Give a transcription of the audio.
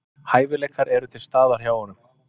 Hæfileikar eru til staðar hjá honum